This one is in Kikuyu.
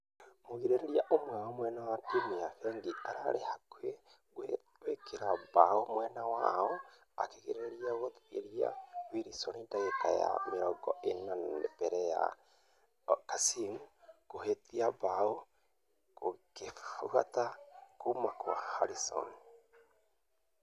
Mũgirereria ũmwe wa timũ ya fengi arari hakũhi gwĩkĩra bao mwena wao akegeria gũtheria ........wilson dagĩka ya mĩrongo ĩna mbere ya kasim kũhĩtia bao gũkĩfuata.....kuma kwa hamilton